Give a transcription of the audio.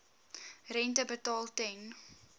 rente betaal ten